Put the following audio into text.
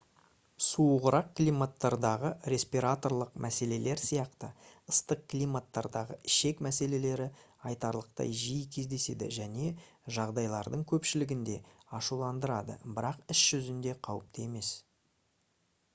суығырақ климаттардағы респираторлық мәселелер сияқты ыстық климаттардағы ішек мәселелері айтарлықтай жиі кездеседі және жағдайлардың көпшілігінде ашуландырады бірақ іс жүзінде қауіпті емес